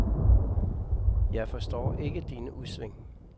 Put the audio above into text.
Jeg forstår ikke dine udsving.